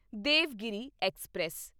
Devagiri express